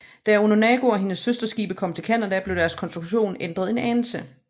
Da Onondaga og hendes søsterskibe kom til Canada blev deres konstruktion ændret en anelse